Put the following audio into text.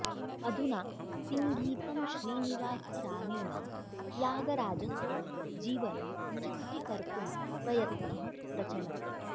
अधुना सिङ्गीतं श्रीनिवासरावेण त्यागराजस्य जीवनं चित्रीकर्तुं प्रयत्नः प्रचलति